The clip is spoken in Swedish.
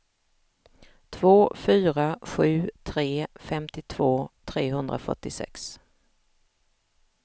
två fyra sju tre femtiotvå trehundrafyrtiosex